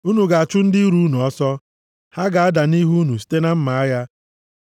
Unu ga-achụ ndị iro unu ọsọ. Ha ga-ada nʼihu unu site na mma agha.